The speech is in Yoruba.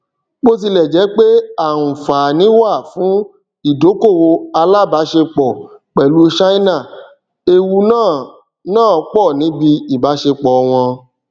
botilẹjẹ pé aanfani wà fún idokowo alabaṣepọ pẹlú china ewu náà náà pọ níbi ìbáṣepọ wọn